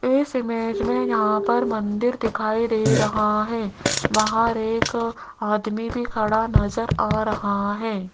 इस इमेज मे यहां पर मंदिर दिखाई दे रहा है बाहर एक आदमी भी खड़ा नज़र आ रहा है।